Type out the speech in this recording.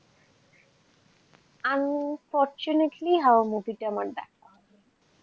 unfortunately হাওয়া movie টা আমার দেখা.